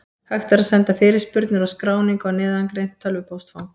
Hægt er að senda fyrirspurnir og skráningu á neðangreint tölvupóstfang.